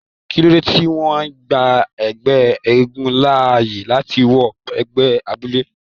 Kilode tí wọn gbà ẹgbẹ eégún láàyè láti wọ gbagede abúlé?